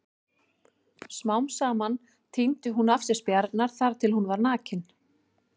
Smám saman tíndi hún af sér spjarirnar þar til hún var nakin.